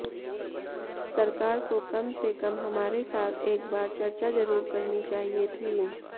सरकार को कम से कम हमारे साथ एक बार चर्चा ज़रूर करनी चाहिए थी